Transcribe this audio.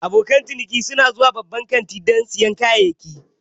Abokan ciniki su na zuwa babban kantin don sayan kayayyaki.